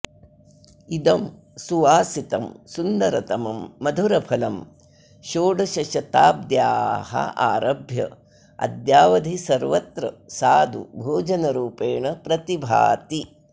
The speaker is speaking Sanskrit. इदं सुवासितं सुन्दरतमं मधुरफलं षोडशशताब्द्याः आरभ्य अद्यावधि सर्वत्र सादु भोजनरूपेण प्रतिभाति